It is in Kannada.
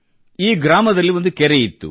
ಈ ಗ್ರಾಮದಲ್ಲಿ ಒಂದು ಕೆರೆ ಇತ್ತು